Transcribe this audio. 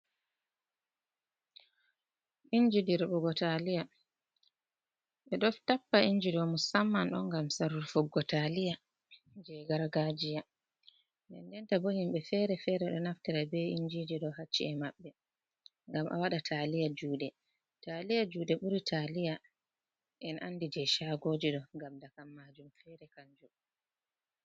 Inji dirɓugo taliya. Ɓe ɗo tappa injiɗo musamman on gam sarrufuggo taliya je gargajiya, den denta bo himɓe feere-feere ɗo naftira be injiji ɗo ha ci'e maɓɓe ngam a waɗa taliya juuɗe. Taliya juuɗe buri taliya en andi je shagoji do, ngam ndakan majum feere kanju.